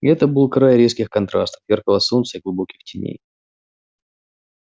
и это был край резких контрастов яркого солнца и глубоких теней